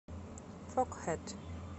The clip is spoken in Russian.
фогхэт